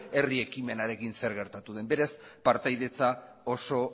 herri ekimenarekin zer gertatu den beraz partaidetza oso